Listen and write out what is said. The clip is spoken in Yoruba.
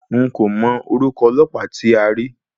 N kò mọ orúkọ ọlọ́pàá tí a rí.